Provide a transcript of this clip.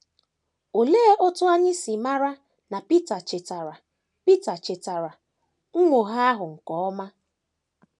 Olee otú anyị si mara na Pita chetara Pita chetara nnwogha ahụ nke ọma?